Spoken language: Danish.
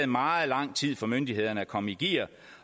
meget lang tid for myndighederne at komme i gear